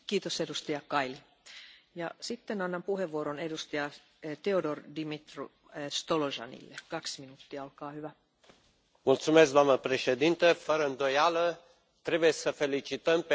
Doamnă președintă, fără îndoială, trebuie să îi felicităm pe toți cei care, de a lungul anilor, au contribuit la redresarea economică a Greciei și, în același timp, trebuie să subliniem